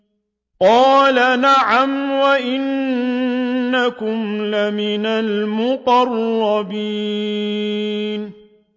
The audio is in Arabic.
قَالَ نَعَمْ وَإِنَّكُمْ لَمِنَ الْمُقَرَّبِينَ